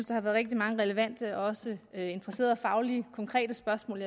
der har været rigtig mange relevante og også interessante og fagligt konkrete spørgsmål